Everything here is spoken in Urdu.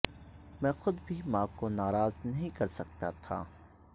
میں خود بھی ماں کو ناراض نیہں کرسکتا تھا